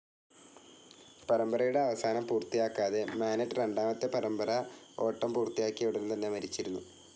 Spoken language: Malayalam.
പരമ്പരയുടെ അവസാനം പൂർത്തിയാക്കാതെ, മാനെറ്റ്, രണ്ടാമത്തെ പരമ്പര ഓട്ടം പൂർത്തിയാക്കിയ ഉടൻതന്നെ മരിച്ചിരുന്നു.